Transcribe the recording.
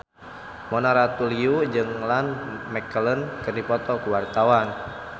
Mona Ratuliu jeung Ian McKellen keur dipoto ku wartawan